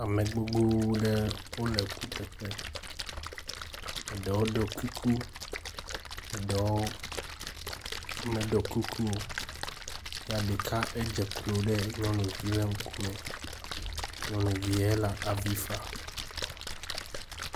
Ame gbogbo ɖe wole kuteƒe. Eɖewo ɖo kuku, eɖewo meɖo kuku o ya ɖeke edze klo ɖe nyɔnuvie ŋkume. Nyɔnuvie le avi fam.